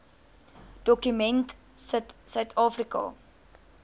dokument sit suidafrika